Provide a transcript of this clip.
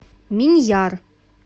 миньяр